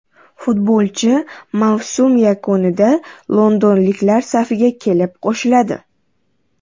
Futbolchi mavsum yakunida londonliklar safiga kelib qo‘shiladi.